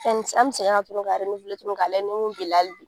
Yanni an bɛ segin a kan ka tuguni k'a lajɛ ni bila hali bi.